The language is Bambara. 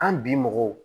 An bi mɔgɔw